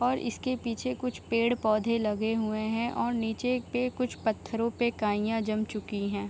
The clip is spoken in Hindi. और इसके पीछे कुछ पेड़-पौधे लगे हुए है और नीचे के कुछ पत्थरों पे काइयाँ जम चुकी है ।